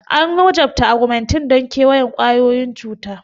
An wajabta Augmentin don kewayon cututtukan ƙwayoyin cuta.